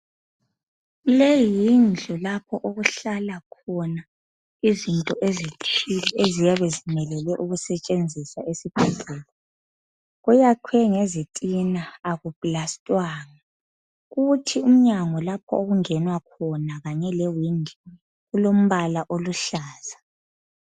Leyi yindlu lapha okuhlala khona izinto ezithile eziyabe zimelele ukusetshenziswa esibhedlela .Kuyakhiwe ngezitina, akuplastwanga. Kuthi umnyango lapha okungenwa khona kanye lewindi,, kulombala oluhlaza.